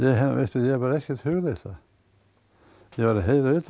ég hef bara ekkert hugleitt það ég var að heyra utan